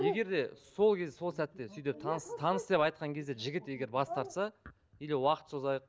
егер де сол кез сол сәтте сөйтіп таныс таныс деп айтқан кезде жігіт егер бас тартса или уақыт созайық